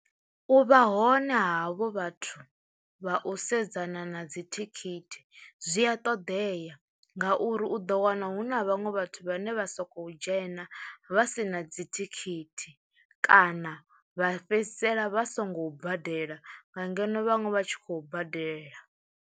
U vha hone ha havho vhathu vha u sedzana na dzithikhithi zwi a ṱoḓea ngauri u ḓo wana hu na vhaṅwe vhathu vhane vha sokou dzhena vha si na dzithikhithi kana vha fhedzisela vha songo badela nga ngeno vhaṅwe vha tshi khou badela.